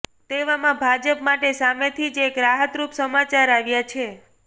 તેવામાં ભાજપ માટે સામેથી જ એક રાહતરૂપ સમાચાર આવ્યા છે